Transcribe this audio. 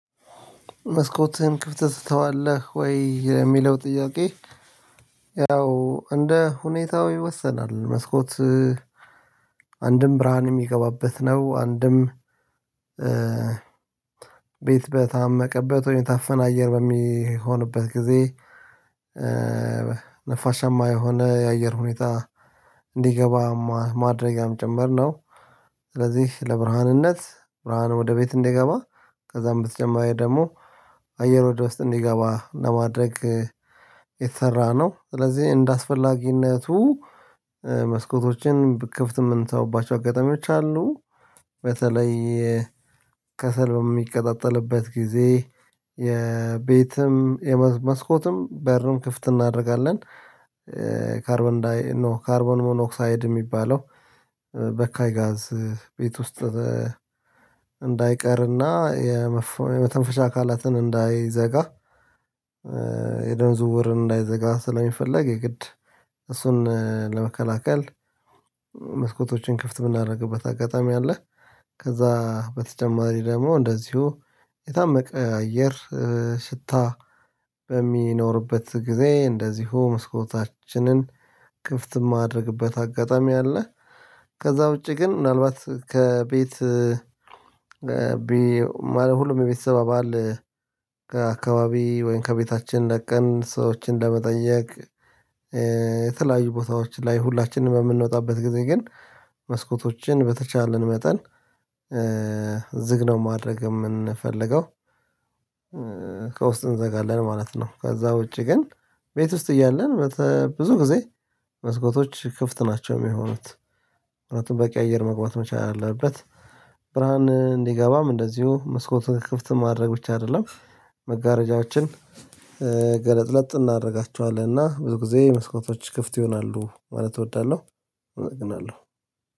መስኮትህን ክፍት ትተዋለህ ወይ የሚለው ጥያቄ? ያው እንደ ሁኔታው ይወሰናል መስኮት አንድም ብርሃን የሚገባበት ነው። አንድም ቤት በታመቀበት ወይም ታፈን አየር በሚሆንበት ጊዜ ነፋሻማ የሆነ የአየር ሁኔታ እንዲገባ ማድረግም ጭምር ያምጨመርነው። ስለዚህ ለብርሃንነት ብርሃኑ ወደ ቤት እንዲገባ ከዛም ብትጀምር ደግሞ አየር ወደ ውስጥ እንዲገባ ለማድረግ የተሰራ ነው። ስለዚህ እንደአስፈላጊነቱ መስኮቶችን ክፍት የምንሰሩባቸው አጋጣሚዎች አሉ። በተለይ ከሰል የሚቀጣጠልበት ጊዜ የቤትም የመስኮትም በርም ክፍት እናደርጋለን። ካርቦን ካርቦን ሞኖክሳይድ የሚባለው በካይ ጋዝ ቤት ውስጥ እንዳይቀርና የመተንፈሻ አካላትን እንዳይዘጋ የደም ዝውውር እንዳይዘጋ ስለሚፈለግ የግድ እሱን ለመከላከል። መስኮቶችን ክፍት ብናደርግበት አጋጣሚ አለ። ከዛ በተጨማሪ ደግሞ እንደዚሁ የታመቀ አየር ሽታ በሚኖርበት ጊዜ እንደዚሁ መስኮታችንን ክፍት የማደርግበት አጋጣሚ አለ። ከዛ ውጪ ግን ምናልባት ከቤት ሁሉም ቤተሰብ አባል ከአካባቢ ወይም ከቤታችን ለቀን ሰዎችን ለመጠየቅ የተለያዩ ቦታዎች ላይ ሁላችንም በምንወጣበት ጊዜ ግን መስኮቶችን በተቻለን መጠን ዝግ ነው ማድረግ የምንፈልገው ከውስጥ እንዘጋለን ማለት ነው። ከዛ ውጪ ግን ቤት ውስጥ እያለን ብዙ ጊዜ መስኮቶች ክፍት ናቸው የሚሆኑት ምክንያቱም በቂ አየር መግባት መቻል አለበት። ብርሃን እንዲገባም እንደዚሁ መስኮቱን ክፍት ማድረግ ብቻ አይደለም መጋረጃዎችን ገለጥለጥ እናደርጋቸዋለን እና ብዙ ጊዜ መስኮቶች ክፍት ይሆናሉ ማለት እወዳለሁ። እጠግናለሁ